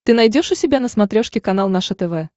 ты найдешь у себя на смотрешке канал наше тв